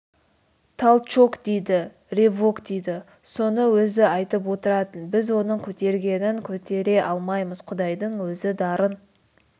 талчок дейді ревок дейді соны өзі айтып отыратын біз оның көтергенін көтере алмаймыз құдайдың өзі дарын